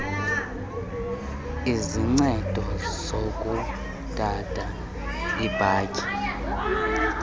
izincedo zokudada iibhatyi